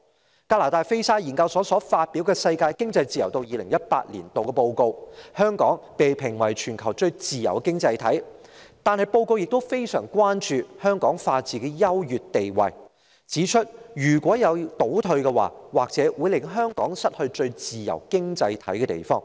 在加拿大菲沙研究所發表的《世界經濟自由度2018年度報告》中，香港被評為全球最自由的經濟體，但報告亦非常關注香港法治的優越地位，並指出一旦出現倒退，或會令香港失去最自由經濟體的地位。